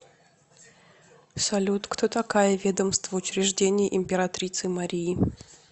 салют кто такая ведомство учреждений императрицы марии